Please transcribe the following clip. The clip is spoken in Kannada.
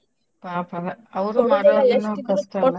ಪಾಪದ .